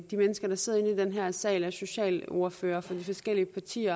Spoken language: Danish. de mennesker der sidder i den her sal og er socialordførere for forskellige partier